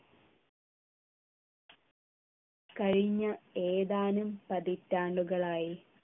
കഴിഞ്ഞ ഏതാനും പതിറ്റാണ്ടുകളായി